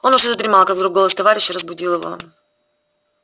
он уже задремал как вдруг голос товарища разбудил его